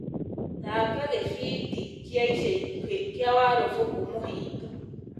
thaaka gĩbindi kia ica ikũhĩ kĩa warũbũkũ mũhinga